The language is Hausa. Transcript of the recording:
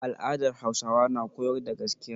Al'adar Hausawa na koyar da gaskiya.